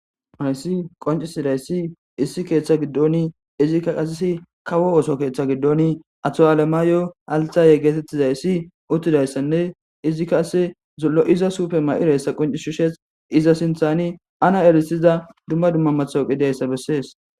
Hayssi qoncisidayssi issi keeththa giddoni izikka qasisi kawo ooso keeththa giddoni ato7aalemaayo althaye geetettizayssi uttidayssanne izikka ase zullo7iza suufe ma7ireyssa qonci shishes iza sinthani ana erisiza dumma dumma mathawuqidiayssa bessees.